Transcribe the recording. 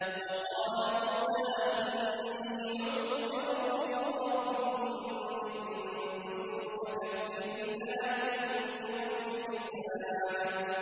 وَقَالَ مُوسَىٰ إِنِّي عُذْتُ بِرَبِّي وَرَبِّكُم مِّن كُلِّ مُتَكَبِّرٍ لَّا يُؤْمِنُ بِيَوْمِ الْحِسَابِ